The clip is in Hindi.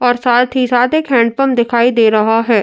और साथ ही साथ एक हैण्ड पंप दिखाई दे रहा है।